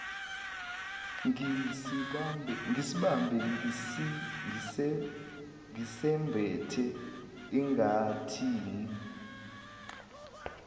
ngisibambe ngisembethe angathini